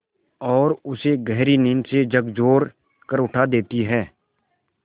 और उसे गहरी नींद से झकझोर कर उठा देती हैं